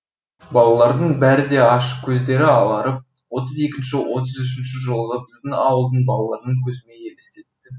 балалардың бәрі де аш көздері аларып отыз екінші отыз үшінші жылғы біздің ауылдың балаларын көзіме елестетті